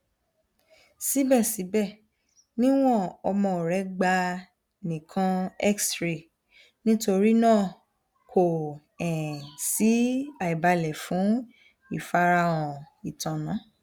sibẹsibẹ niwon ọmọ rẹ gba nikan xray nitorinaa ko um si aibalẹ fun ifarahan itanna